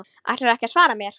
Ætlarðu ekki að svara mér?